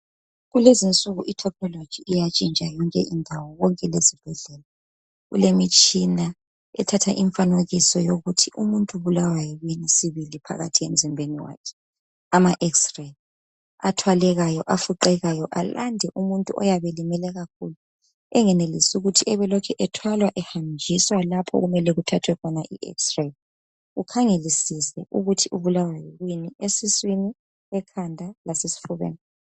Kulezinsuku i technology iyantshintsha yonke indawo, konke lezibhedlela. Kulemitshina ethatha imfanekiso yokuthi umuntu ubulawa yikuyini sibili phakathi emzimbeni wakhe, ama x-ray athwalekayo, afuqekayo, ayande umuntu oyabe elimele kakhulu, engenelisi ukuthi abelokhu ethwalwa ehanjiswa lapho okumele kuthathwe khona i x-ray, ukhangelisise ukuthi ubulawa yikuyini esiswini, ekhanda lasesifubeni.